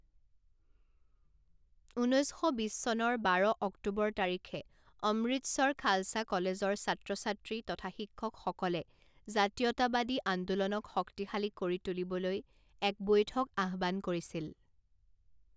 ঊনৈছ শ বিছ চনৰ বাৰ অক্টোবৰ তাৰিখে অমৃতসৰ খালসা কলেজৰ ছাত্ৰ ছাত্ৰী তথা শিক্ষকসকলে জাতীয়তাবাদী আন্দোলনক শক্তিশালী কৰি তুলিবলৈ এক বৈঠক আহ্বান কৰিছিল।